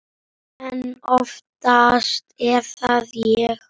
En oftast er það ég.